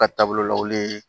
Ka taabolo lawuli